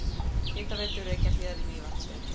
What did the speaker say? Hitaveitu Reykjahlíðar í Mývatnssveit.